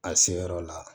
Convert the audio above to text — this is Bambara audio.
A seyɔrɔ la